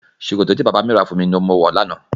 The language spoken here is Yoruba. Ṣòkòtò tí bàbá mi rà fún mi ní mo wọ̀ ní àná